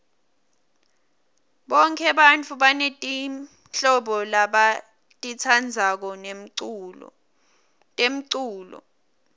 bonke bantfu banetimhlobo labatitsandzako temculo